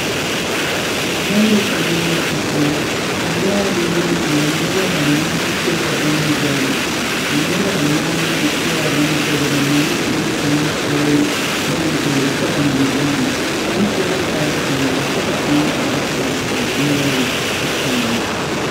Lɔre gyamaa la a are. A lɔre na naŋ are neba banaare te la bon zɛge. A neba banaare naŋ te a boŋ zɛge ba mene eŋ la nu toore boŋ ziire kyɛ ba mene ba eŋ. Kang su la kpar duore kyɛ ka kang are kɔ a lɔre kyɛ kaara